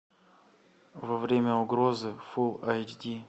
во время угрозы фул айч ди